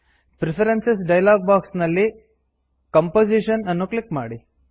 preferences dialog box ನಲ್ಲಿ composition ಅನ್ನು click ಮಾಡಿ